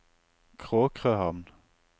Kråkrøhamn